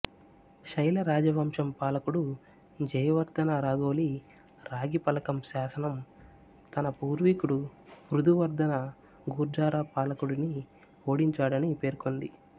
శైల రాజవంశం పాలకుడు జయవర్ధన రాఘోలి రాగి ఫలకం శాసనం తన పూర్వీకుడు పృథువర్ధన గుర్జారా పాలకుడిని ఓడించాడని పేర్కొంది